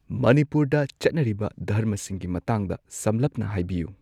ꯃꯅꯤꯄꯨꯔꯗ ꯆꯠꯅꯔꯤꯕ ꯙꯔꯃꯁꯤꯡꯒꯤ ꯃꯇꯥꯡꯗ ꯁꯝꯂꯞꯅ ꯍꯥꯏꯕꯤꯌꯨ